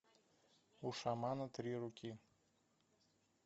у шамана три руки